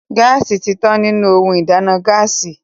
Gáàsì ti tán nínú ohun ìdáná Gáàsì